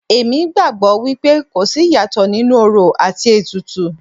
Èmi gbàgbọ́ wípé kò sí ìyàtọ̀ nínú orò àti ètùtù.